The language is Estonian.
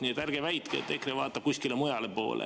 Nii et ärge väitke, et EKRE vaatab kuskile mujale poole.